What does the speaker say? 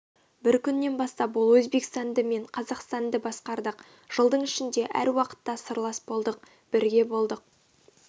бір күннен бастап ол өзбекстанды мен қазақстандыбасқардық жылдың ішінде әр уақытта сырлас болдық бірге болдық